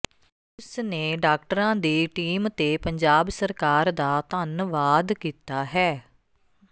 ਉਸ ਨੇ ਡਾਕਟਰਾਂ ਦੀ ਟੀਮ ਤੇ ਪੰਜਾਬ ਸਰਕਾਰ ਦਾ ਧੰਨਵਾਦ ਕੀਤਾ ਹੈ